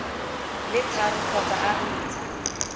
le tharo kgotsa a ntsha